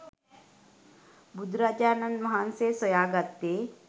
බුදුරජාණන් වහන්සේ සොයා ගත්තේ